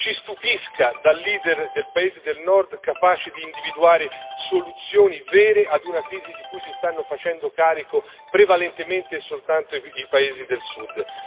Ci stupisca, da leader del paese del Nord capace di individuare soluzioni vere ad una crisi di cui si stanno facendo carico prevalentemente e soltanto i paesi del Sud.